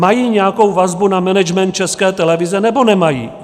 Mají nějakou vazbu na management České televize, nebo nemají?